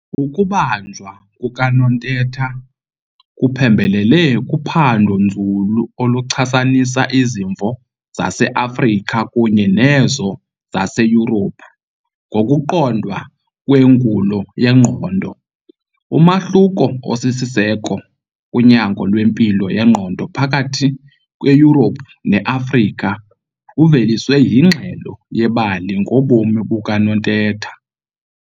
Ukubanjwa kukaNontetha kuphembelele kuphando-nzulu oluchasanisa izimvo zaseAfrica kunye nezo zaseYurophu ngokuqondwa kwengulo yengqondo. Umahluko osisiseko kunyango lwempilo yengqondo phakathi kweYurophu neAfrika uveliswe yingxelo yebali ngobomi bukaNontetha.